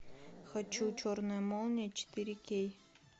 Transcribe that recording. хочу черная молния четыре кей